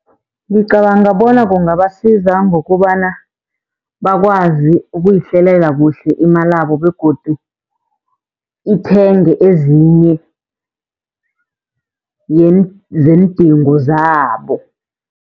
Ngicabanga bona kungabasiza ngokubana bakwazi ukuyihlelela kuhle imalabo begodu ithenge ezinye zeendingo zabo.